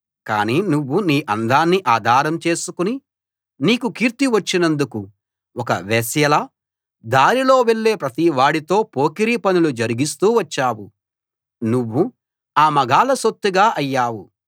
కాని నువ్వు నీ అందాన్ని ఆధారం చేసుకుని నీకు కీర్తి వచ్చినందుకు ఒక వేశ్యలా దారిలో వెళ్ళే ప్రతివాడితో పొకిరీ పనులు జరిగిస్తూ వచ్చావు నువ్వు ఆ మగాళ్ళ సొత్తుగా అయ్యావు